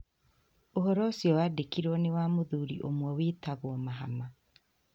Ũhoro ũcio wandĩkirwo nĩ wa mũthuri ũmwe wĩtagwo Mahama.